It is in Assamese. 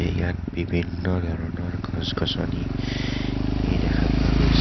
ইয়াত বিভিন্ন ধৰণৰ গছ গছনী ই দেখা পোৱা গৈছে.